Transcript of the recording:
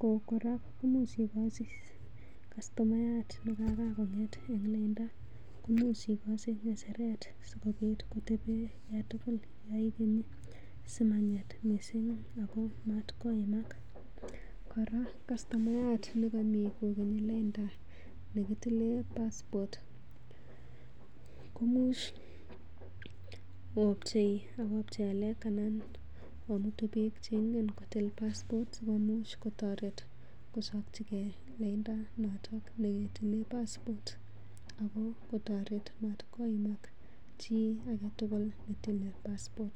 ko kora komuch igochi kastomayat ne karan kong'et en lainda, imuch igochi ng'echeret sikobit koteben yan tugul yon igeni simang'et missing ago matkoimak. Ago kora kastomayat nekomi kogeni lainda nekitile passport komuch opchei ng'alek anan omutu biik che ingen kotil passport sikomuch kotoret kochopchige lainda noto ne kitilen passport, ago kotoret matkoimak chi age tugul ntile passport .